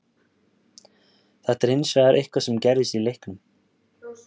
Þetta er hins vegar eitthvað sem gerðist í leiknum.